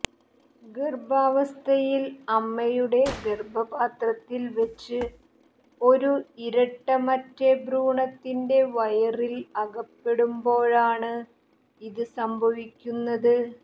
ഗർഭാവസ്ഥയിൽ അമ്മയുടെ ഗർഭപാത്രത്തിൽ വെച്ച് ഒരു ഇരട്ട മറ്റേ ഭ്രൂണത്തിന്റെ വയറിൽ അകപ്പെടുമ്പോഴാണ് ഇത് സംഭവിക്കുന്നത്